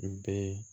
N bɛɛ